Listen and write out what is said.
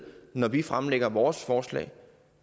når vi fremlægger vores forslag